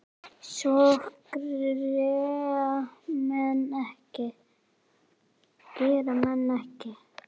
Svona gera menn ekki